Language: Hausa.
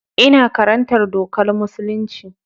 Ina karantar dokar musulunci.